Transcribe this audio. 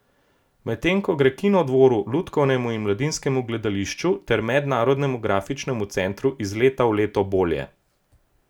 Medtem ko gre Kinodvoru, Lutkovnemu in Mladinskemu gledališču ter Mednarodnemu grafičnemu centru iz leta v leto bolje.